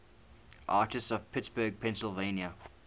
artists from pittsburgh pennsylvania